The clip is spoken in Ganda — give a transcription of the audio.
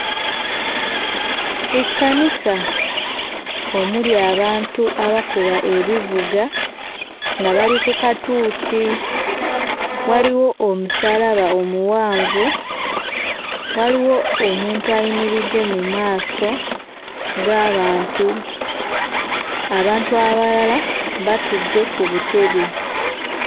Ekkanisa omuli abantu abakuba ebivuga nga bali ku katuuti. Waliwo omusaalaba omuwanvu, waliwo omuntu ayimiridde mu maaso g'abantu; abantu abalala batudde ku butebe.